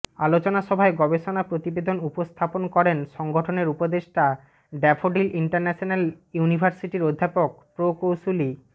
আলোচনা সভায় গবেষণা প্রতিবেদন উপস্থাপন করেন সংগঠনের উপদেষ্টা ড্যাফোডিল ইন্টারন্যাশনাল ইউনিভার্সিটির অধ্যাপক প্রকৌশলী ড